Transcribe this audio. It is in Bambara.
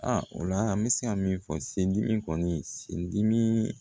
A o la an bɛ se ka min fɔ sendimi kɔni sen dimi